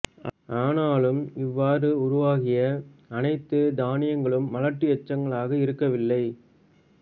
ஆனாலும் இவ்வாறு உருவாகிய அனைத்துத் தனியங்களும் மலட்டு எச்சங்களாக இருக்கவில்லை